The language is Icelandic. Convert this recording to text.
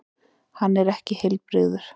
Hann er ekki heilbrigður.